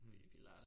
Mh